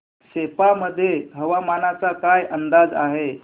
सेप्पा मध्ये हवामानाचा काय अंदाज आहे